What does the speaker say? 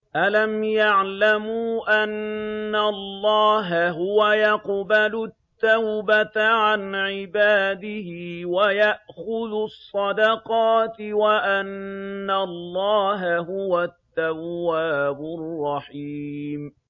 أَلَمْ يَعْلَمُوا أَنَّ اللَّهَ هُوَ يَقْبَلُ التَّوْبَةَ عَنْ عِبَادِهِ وَيَأْخُذُ الصَّدَقَاتِ وَأَنَّ اللَّهَ هُوَ التَّوَّابُ الرَّحِيمُ